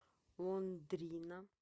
лондрина